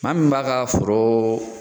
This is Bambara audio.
Maa min m'a ka foro